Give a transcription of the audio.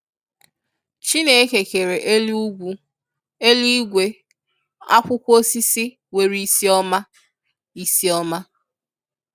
Chineke kere elu ụgwụ, eluigwe, akwụkwọ osisi nwere isi ọma. isi ọma.